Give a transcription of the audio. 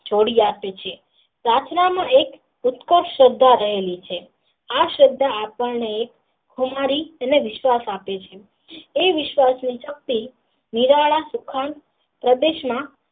જોડીયાત છે પ્રાર્થના માં એક શબ્દ રહેલો છે આ શબ્દ આપણ ને ખુમારી અને વિશ્વાસ આપે છે એ શક્તિ પ્રદેશ માં.